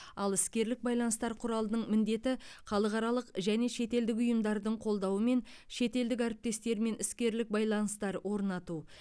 ал іскерлік байланыстар құралының міндеті халықаралық және шетелдік ұйымдардың қолдауымен шетелдік әріптестермен іскерлік байланыстар орнату